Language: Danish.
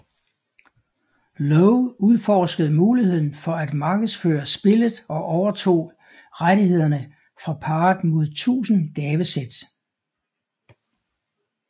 Lowe udforskede muligheden for at markedsføre spillet og overtog rettighederne fra parret mod tusind gavesæt